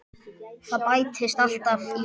Það bætist alltaf í hópinn.